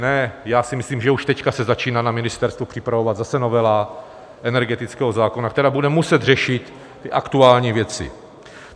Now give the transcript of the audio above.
Ne, já si myslím, že už teď se začíná na ministerstvu připravovat zase novela energetického zákona, která bude muset řešit ty aktuální věci.